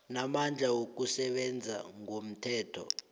namandla wokusebenza ngomthetho